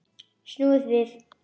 Snúið við!